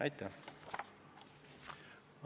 Aitäh!